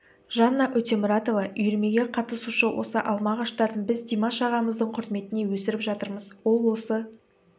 жанна өтемұратова үйірмеге қатысушы осы алма ағаштарын біз димаш ағамыздың құрметіне өсіріп жатырмыз ол осы